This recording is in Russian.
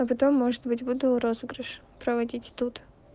а потом может быть буду розыгрыш проводить тут